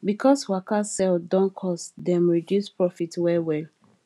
because waka sell don cost dem reduce profit wellwell